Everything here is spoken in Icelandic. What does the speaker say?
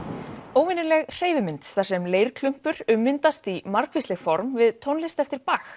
óvenjuleg hreyfimynd þar sem ummyndast í margvísleg form við tónlist eftir